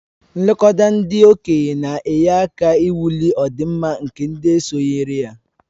Nlekọta ndị okenye na-enye aka ịwulị ọdịmma nke ndị sonyere ya